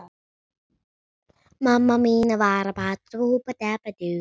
Gerðu þetta því núna!